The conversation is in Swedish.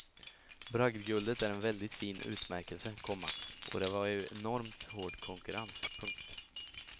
Bragdguldet är en väldigt fin utmärkelse, komma och det var ju enormt hård konkurrens. punkt